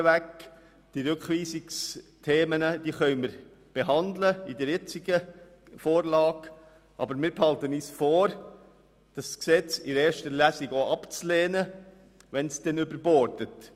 Die Themen der Rückweisung können wir in der jetzigen Vorlage behandeln, aber wir behalten uns vor, das Gesetz in der ersten Lesung abzulehnen, sollte es überborden.